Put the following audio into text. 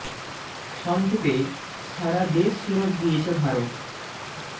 স ং ক্ষে পে সা রা দে শ ফেরত দিয়েছে ভারত